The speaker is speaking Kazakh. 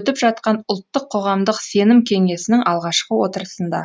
өтіп жатқан ұлттық қоғамдық сенім кеңесінің алғашқы отырысында